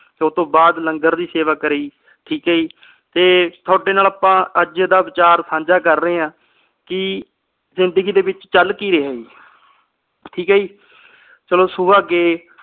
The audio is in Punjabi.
ਤੇ ਓਹਤੋਂ ਬਾਅਦ ਲੰਗਰ ਦੀ ਸੇਵਾ ਕਰੀ ਠੀਕ ਆ ਜੀ ਤੇ ਤੁਹਾਡੇ ਨਾਲ ਆਪਾ ਅੱਜ ਦਾ ਵਿਚਾਰ ਸਾਂਝਾ ਕਰ ਰਹੇ ਆ ਕੇ ਜ਼ਿੰਦਗੀ ਦੇ ਵਿਚ ਚੱਲ ਕੀ ਰਹਿਆ ਜੀ ਠੀਕ ਆ ਜੀ ਚਲੋ ਸੁਬਹ ਗਏ